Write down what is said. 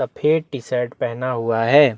सफेद T-shirt पहना हुआ हैं।